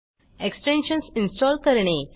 extensions install करणे